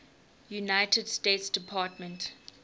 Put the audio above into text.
united states department